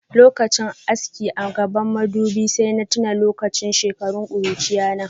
Lokachin aski a gabban madubin sai na tuna da shekarun kurchiyata.